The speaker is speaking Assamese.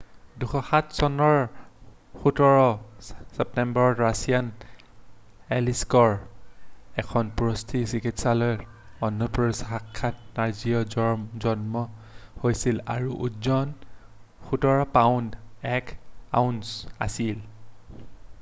2007 চনৰ 17 ছেপ্টেম্বৰত ৰাছিয়াৰ এলিছকৰ এখন প্ৰসুতী চিকিৎসালয়ত অস্ত্ৰোপচাৰ শাখাত নাডিয়াৰ জন্ম হৈছিল আৰু ওজন 17 পাউণ্ড 1 আউন্স আছিল